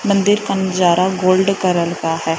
मंदिर का नजारा गोल्ड करल का है।